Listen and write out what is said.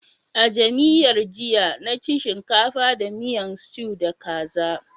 A'jamiyyar jiya na ci shinkafa da miyan stew da kaza.